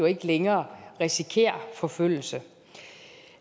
ikke længere risikerer forfølgelse